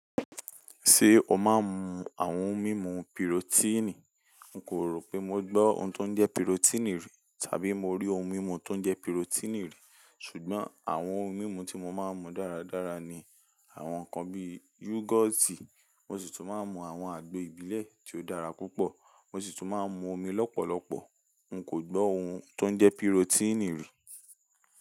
Ṣé o máa ń mu àwọn ohun mímu pirotíìnì? N kò rò pé mo gbọ́ ohun tó ń jẹ́ pirotíìnì rí tàbí mo rí ohun mímu tó ń jẹ́ pirotíìnì rí. Ṣùgbọ́n àwọn ohun mímu tí mo máa ń mu dáradára ni àwọn nǹkan bí yógọ́ọ̀tì, mo sì tún máa ń mu àwọn àgbo ìbílẹ̀ tí ó dára púpọ̀, mo sì tún máa ń mu omi lọ́pọ̀lọpọ̀. N kò gbọ́ ohun tó ń jẹ́ pirotíìnì rí.